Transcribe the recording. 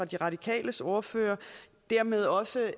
de radikales ordfører dermed også